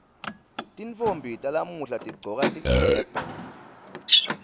tintfombi talamuhla tigcoka tigcebhe